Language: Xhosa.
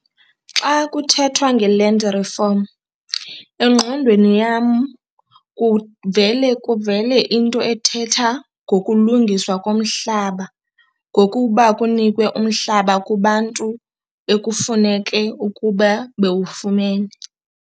Xa kuthethwa nge-land reform engqondweni yam kuvele kuvele into ethetha ngokulungiswa komhlaba ngokuba kunikwe umhlaba kubantu ekufuneke ukuba bewufumene.